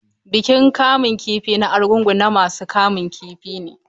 Bikin kamun kifi na Arugungu na masu kamun kifi ne.